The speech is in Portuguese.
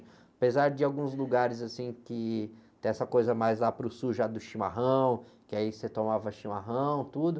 Apesar de alguns lugares, assim, que tem essa coisa mais lá para o sul, já do chimarrão, que aí você tomava chimarrão, tudo.